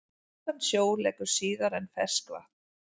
Saltan sjó leggur síðar en ferskvatn.